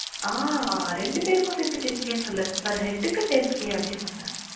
ஆஹ் ரெண்டு பேருக்கும் சேர்த்து ten K சொல்லல per head க்கு ten K அப்டி சொனேன்